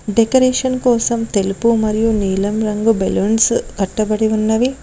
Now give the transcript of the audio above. Decoration కోసం తెలుపు మరియు నీలం రంగు బెలూన్స్ కట్టబడి ఉన్నవి.